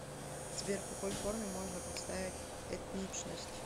сбер в какой форме можно представить этничность